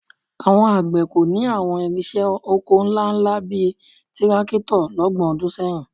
Àwọn àgbẹ̀ kò ní àwọn ìrinṣẹ́ oko ńláńlá bíi tírákítọ̀ lọ́gbọ̀n ọdún sẹ́yìn